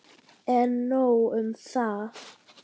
En nóg um það.